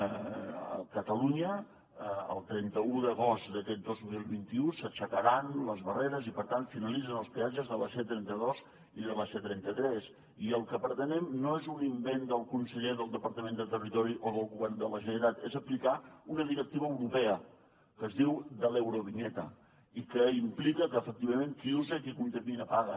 a catalunya el trenta un d’agost d’aquest dos mil vint u s’aixecaran les barreres i per tant finalitzen els peatges de la c trenta dos i de la c trenta tres i el que pretenem no és un invent del conseller del departament de territori o del govern de la generalitat és aplicar una directiva europea que es diu de l’eurovinyeta i que implica que efectivament qui usa i qui contamina paga